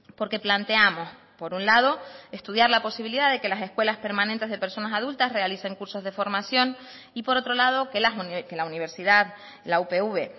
porque planteamos por un lado estudiar la posibilidad de que las escuelas permanentes de personas adultas realicen cursos de formación y por otro lado que la universidad la upv